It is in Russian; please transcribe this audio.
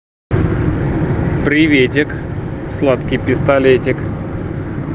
приветик сладкий пистолетик